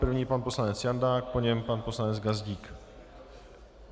První pan poslanec Jandák, po něm pan poslanec Gazdík.